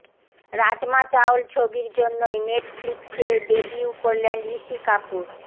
রাজমা চাওল ছবির জন্যই নেটফ্লিক্সে ডেবিউ করলেন ঋষি কাপুর